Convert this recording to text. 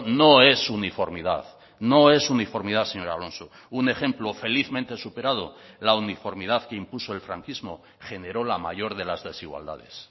no es uniformidad no es uniformidad señor alonso un ejemplo felizmente superado la uniformidad que impuso el franquismo generó la mayor de las desigualdades